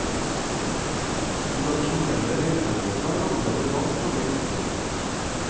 De tradisjonelle reisemålene er allerede langt på vei utsolgt.